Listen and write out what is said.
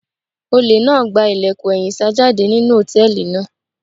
Olè náà gba ilẹ̀kùn ẹ̀yìn sá jáde nínú hòtẹ́ẹ̀lì náà.